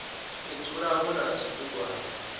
u dzula hu na zwibugwana